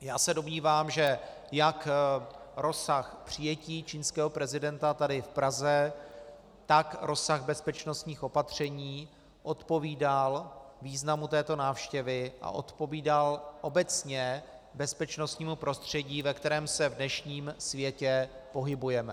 Já se domnívám, že jak rozsah přijetí čínského prezidenta tady v Praze, tak rozsah bezpečnostních opatření odpovídal významu této návštěvy a odpovídal obecně bezpečnostnímu prostředí, ve kterém se v dnešním světě pohybujeme.